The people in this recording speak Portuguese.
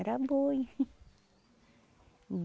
Era boi.